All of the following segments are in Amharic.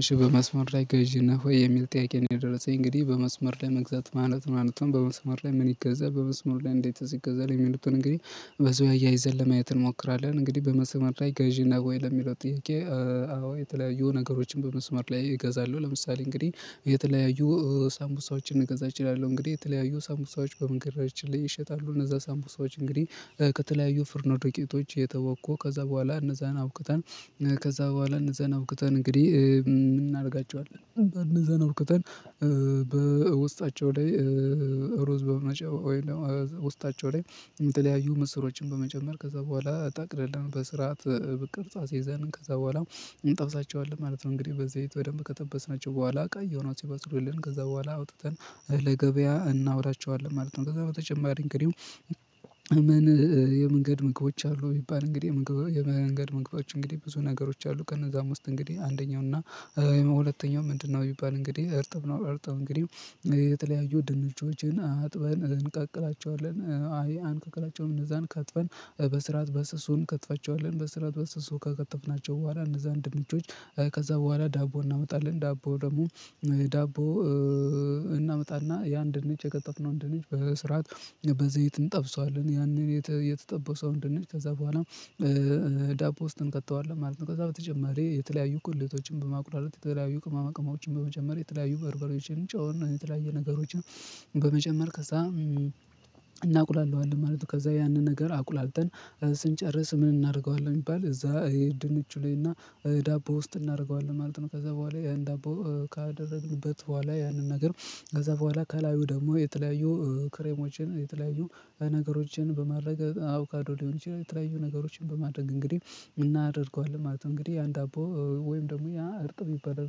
እሽ በመስመር ላይ ገዢ ነህ ወይ? የሚል ጥያቄ ነው የደረሰኝ እንግዲህ በመስመር መግዛት ማለት ምን ማለት ነው በመስመር ላይ ምን ይገዛል በመስመር ላይ እንዴትስ ይገዛል የሚሉትን እንግዲህ በዚህ አያይዘን ለማየት እንሞክራለን እንግዲህ በመሰመር ላይ ጋዢ ነህ ለሚለው ጥያቄ አዎ የተለያዩ ነገሮችን በመስመር ላይ እገዛለሁ ለምሳሌ እንግዲህ የተለያዩ ሳምቡሳዎችን ልገዛ እችላለሁ እንግዲህ የተለያዩ ሳምቡሳዎች በመንገዳችን ላይ ይሸጣሉ እነዛ ሳምቡሳዎች ሰዎች እንግዲህ ከተለያዩ ፍርኖ ዱቄቶች እየተቦኩ ከዛ በኋላ እነዛን አቡክተን ከዛ በኋላ እነዛን አቡክተን እንግዲህ ምን እናደርጋቸዋለን እንዚያን አቡክተን በውስጣቸው ላይ ሮዝ በመጨመር ውስጣቸው ላይ ምስሮችን በመጨመር ከዛ በኋላ ጠቅልለን በስርዓት ቅርጽ አስይዘን ከዛ በኋላ እንጠብሳቸዋለን ማለት ነው እንግዲህ በዘይት በደንብ ከቀጠበስናቸው በኋላ ቀይ ሆነው ሲበስሉልን ከዛ በኋላ አውጥተን ለገበያ እናውላቸዋለን ማለት ነው ከዛ በተጨማሪ እንግዲህ ምን የመንገድ ምግቦች አሉ ቢባል እንግዲህ የመንገድ ምግቦቶች እንግዲህ ብዙ ነገሮች አሉእነዛም ውስጥ እንግዲህ አንደኛው እና ሁለተኛው ምንድነው የሚባል እንግዲህ እርጥብ ነው እርጥብ እንግዲህ የተለያዩ ድንችዎችን አጥበን እንቀቅላቸዋለን አይ አንቀቅላቸውን እነዛን ከጥፈን በስራት በስሱን እንከትፋቸዋለን በስራት በስሱ ከቀጠፍናቸው በኋላ እነዛን ድንቾች ከዛ በኋላ ዳቦ እናመጣለን ዳቦ ደግሞ ዳቦ እናመጣና ያን ድንች የቀጠፍነውን ድንች በስርዓት በዘይት እንጠብሰዋለን ያንን የተጠበሰው ድንች ከዛ በኋላ ዳቦ ውስጥ እንከተዋለን ማለት ነው ከዛ በተጨማሪ የተለያዩ ቁልልቶችን በማቁላላት የተለያዩ ቅማቅማዎችን በመጨመር የተለያዩ በርበሬዎችን ጨው የተለያዩ ነገሮችን በመጨመር ከዛ እናውቅላለሁ ማለት ነው ከዛ ያንን ነገር አቁላልተን ስንጨርስ ምን እናደርገዋለን ቢባል እዛ ድንች ላይ እና ዳቦ ውስጥ እናደርገዋለን ማለት ነው ከዛ በኋላ ያን ዳቦ ካደረግንበት በኋላ ያንን ነገር ከዛ በኋላ ከላዩ ደግሞ የተለያዩ ክሬሞችን የተለያዩ ነገሮችን በማድረግ አውካዶ ሊሆን ይችላል የተለያዩ ነገሮችን በማድረግ እንግዲህ እናደርገዋለን ማለት ነው እንግዲህ ያን ዳቦ ወይም ደግሞ ያ እርጥ ቢባል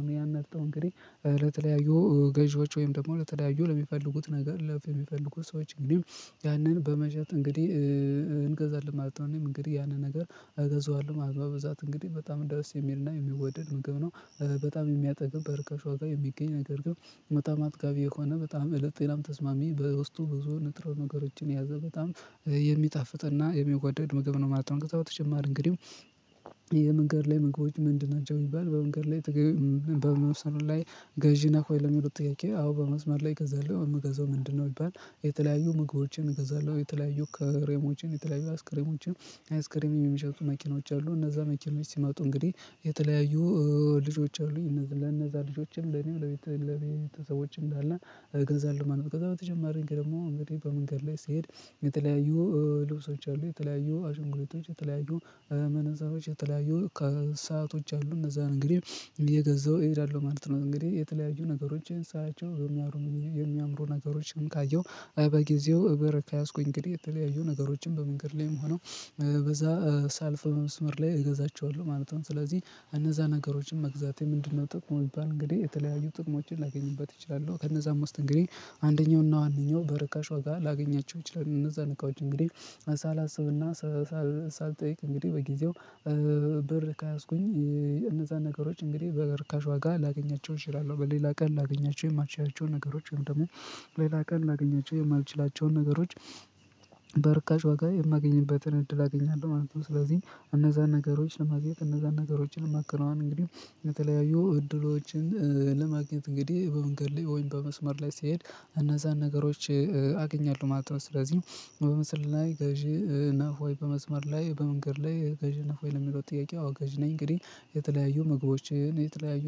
ነው ያን እንግዲህ ለተለያዩ ገዢዎች ወይም ደግሞ ለተለያዩ ለሚፈልጉት ነገር ለሚፈልጉት ሰዎች እንግዲህ ያንን በመሸጥ እንግዲህ እንግዲህ ማለት ነው እንግዲህ ያንን ነገር እገዛዋለሁ ማለት በብዛት እንግዲህ በጣም እንደውስ የሚልና የሚወደድ ምግብ ነው በጣም የሚያጠግብ በርካሽ ዋጋ የሚገኝ ነገር ግን በጣም አጥጋቢ የሆነ በጣም እለት ሌላም ተስማሚ በውስጡ ብዙ ንጥረው ነገሮችን ያዘ በጣም የሚጣፍጥና የሚወደድ ምግብ ነው ማለት ነው በተጨማሪ እንግዲህ የመንገድ ላይ ምግቦች ምንድን ናቸው የሚባል በመንገድ ላይ በመውሰድ ላይ ገዢ ነህ ወይ ለሚለው ጥያቄ አዎ በመስመር ላይ እገዛለሁ የምገዛው ምንድነው ይባል የተለያዩ ምግቦችን እገዛለሁ የተለያዩ ከክሬሞችን የተለያዩ አስክሬሞችን አስክሬም የሚሸጡ መኪኖች አሉ እነዛ መኪኖች ሲመጡ እንግዲህ የተለያዩ ልጆች አሉኝ ለነዛ ልጆችም ለኔም ለቤተ ሰዎችም እንዳለ እገዛለሁ ገዛለሁ ማለት ነው ከዛ በተጨማሪ ደግሞ እንግዲህ በመንገድ ላይ ስሄድ የተለያዩ ልብሶች አሉ የተለያዩ አሽንጉሊቶች የተለያዩ መነጸሮች የተለያዩ ሰአቶች አሉ እነዛን እንግዲህ እየገዛሁ እሄዳለሁ ማለት ነው እንግዲህ የተለያዩ ነገሮችን ሳያቸው የሚያምሩ የሚያምሩ ነገሮችንም ካየሁ በጊዜው እበረ ከያዝኩኝ እንግዲህ የተለያዩ ነገሮችን በመንገድ ላይም ሆነው በዛ ሳልፍ መስመር ላይ እገዛቸዋለሁ ማለት ነው ስለዚህ እነዛ ነገሮችን መግዛቴ ምንድነው ጥቅሙ ቢባል እንግዲህ የተለያዩ ጥቅሞችን ላገኝበት እችላለሁ ከነዛ ውስጥ እንግዲህ አንደኛውና አንደኛው በርካሽ ዋጋ ላገኛቸው እችላል እነዛ ነጋዴ እንግዲህ ሳላስብና ሳልጠይቅ እንግዲህ በጊዜው ብር ከያዝኩኝ እነዛን ነገሮች እንግዲህ በርካሽ ዋጋ ላገኛቸው እችላለሁ በሌላ ቀን ላገኛቸው የማልችላቸው ነገሮች ወይም ደግሞ ሌላ ቀን ላገኛቸው የማልችላቸውን ነገሮች በርካሽ ዋጋ የማገኝበትን እድል አገኛለሁ ማለት ነው ስለዚህም እነዛን ነገሮችን ለማዘጋጀት እነዛን ነገሮችን ለማከናወን እንግዲህ የተለያዩ እድሎችን ለማግኘት እንግዲህ በመንገድ ላይ ወይም በመስመር ላይ ስትሄድ እነዛን ነገሮች አገኛለሁ ማለት ነው ስለዚህ በምስል ላይ ገዢ ነህ ወይ በመስመር ላይ በመንገድ ላይ ገዢ እና ወይ ለሚለው ጥያቄ አዎ ገዥ ነኝ እንግዲህ የተለያዩ ምግቦችን የተለያዩ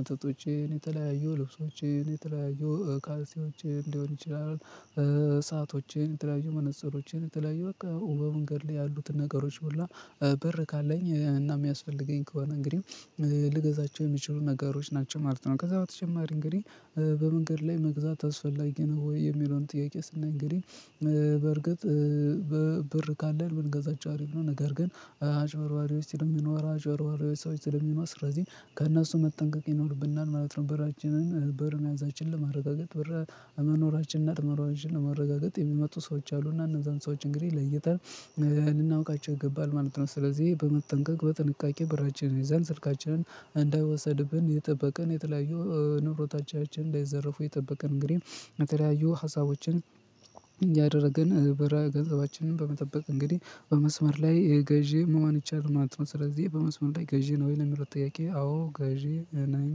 መጠጦችን የተለያዩ ልብሶችን የተለያዩ ካልሲዎችን ሊሆን ይችላል ሰአቶቼን የተለያዩ መነፀሮቼን የተለያዩ በቃ በመንገድ ላይ ያሉትን ነገሮች ሁሉ ብር ካለኝ እና የሚያስፈልገኝ ከሆነ እንግዲህ ልገዛቸው የሚችሉ ነገሮች ናቸው ማለት ነው ከዛ በተጨማሪ እንግዲህ በመንገድ ላይ መግዛት አስፈላጊ ነው ወይ የሚለውን ጥያቄ ስናይ እንግዲህ በርግጥ ብር ካለን ብንገዛቸው አሪፍ ነው ነገር ግን አጭበርባሪዎች ስለሚኖራ አጭበርባሪ ሰዎች ስለሚኖራ ስለዚህ ከእነሱ መጠንቀቅ ይኖርብናል ማለት ነው ብራችንን በርን መያዛችን ለማረጋገጥ ብር መኖራችንን አርመራ አንችል ለማረጋገጥ የሚመጡ ሰዎች አሉና እነዛን ሰዎች እንግዲህ ለይተን ልናውቃቸው ይገባል ማለት ነው ስለዚህ በመጠንቀቅ በጥንቃቄ ብራችንን ይዘን ስልካችንን እንዳይወሰድብን እየጠበቅን የተለያዩ ንብረቶቻችን እንዳይዘርፉ እየጠበቅን እንግዲህ የተያዩ ሀሳቦችን ያደረገን ብር ገንዘባችንን በመጠበቅ እንግዲህ በመስመር ላይ ገዢ መሆን ይቻላል ማለት ነው ስለዚህ በመስመር ላይ ገዢ ነህ ወይ ለሚለው ጥያቄ አዎ ገዢ ነኝ።